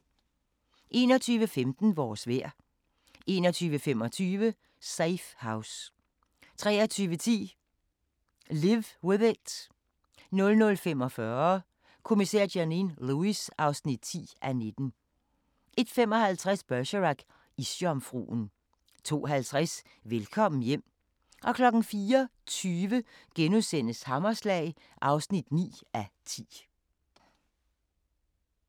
21:15: Vores vejr 21:25: Safe House 23:10: Live With It 00:45: Kommissær Janine Lewis (10:19) 01:55: Bergerac: Isjomfruen 02:50: Velkommen hjem 04:20: Hammerslag (9:10)*